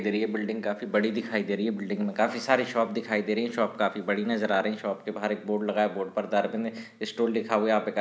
इधर ये बिल्डिंग काफी बड़ी दिखाई दे रही है बिल्डिंग में काफी सारे शॉप दिखाई दे रही हैं शॉप काफी बड़ी नजर आ रही है शॉप के बाहर एक बोर्ड लगा है बोर्ड पर स्टोर लिखा हुआ है यहाँ पे का --